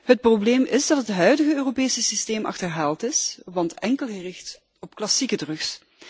Het probleem is dat het huidige Europese systeem achterhaald is, want het is enkel gericht op klassieke drugs.